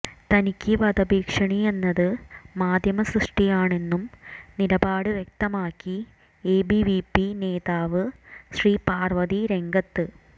തനിക്ക് വധഭീഷണി എന്നത് മാധ്യമസൃഷ്ടിയാണെന്നും നിലപാട് വ്യക്തമാക്കി എബിവിപി നേതാവ് ശ്രീപാര്വതി രംഗത്ത്